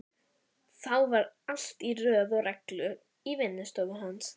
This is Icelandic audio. Þá var allt í röð og reglu í vinnustofunni hans.